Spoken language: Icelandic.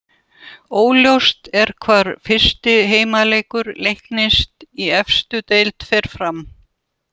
Óljóst er hvar fyrsti heimaleikur Leiknis í efstu deild fer fram.